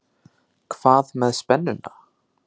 Hvað með spennuna?